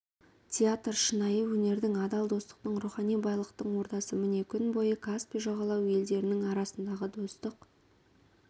театр шынайы өнердің адал достықтың рухани байлықтың ордасы міне күн бойы каспий жағалауы елдерінің арасындағы достық